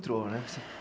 né